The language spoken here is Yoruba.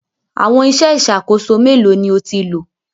Àwọn iṣẹ́ ìṣàkóso mélòó ni o ti lò?